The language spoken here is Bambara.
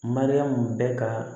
Mariyamu bɛ ka